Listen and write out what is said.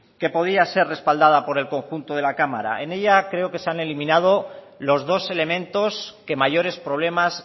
que podía ser respaldada por el conjunto de la cámara en ella creo que se han eliminado los dos elementos que mayores problemas